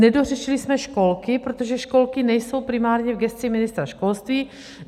Nedořešili jsme školky, protože školky nejsou primárně v gesci ministra školství.